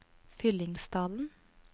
Fyllingsdalen